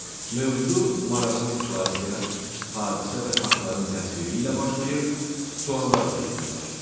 Mövzu maraqlı situasiya, hadisə və faktların təsviri ilə başlayır, suallarla yekunlaşır.